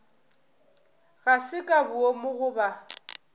ga se ka boomo goba